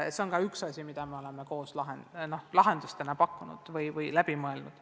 See on ka üks asi, mida oleme koos lahendusena välja pakkunud ja läbi mõelnud.